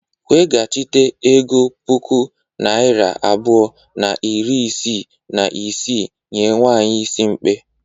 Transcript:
Weghachite ego puku naira abụọ na iri isii na isii nye nwanyị is mkpe.